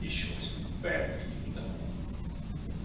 ещё и с попугаем каким-то